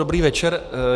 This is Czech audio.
Dobrý večer.